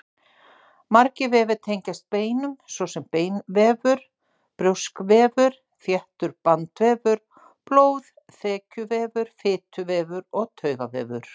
Margir vefir tengjast beinum, svo sem beinvefur, brjóskvefur, þéttur bandvefur, blóð, þekjuvefur, fituvefur og taugavefur.